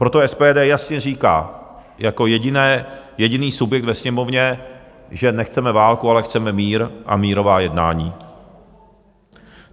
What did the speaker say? Proto SPD jasně říká jako jediný subjekt ve Sněmovně, že nechceme válku, ale chceme mír a mírová jednání.